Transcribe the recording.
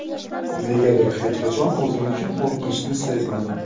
Negadir hech qachon o‘zim uchun qo‘rqinchni sezmadim.